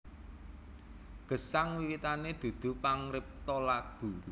Gesang wiwitané dudu pangripta lagu